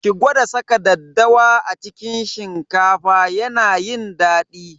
Ki gwada saka daddawa a cikin shinkafa yana yin daɗi.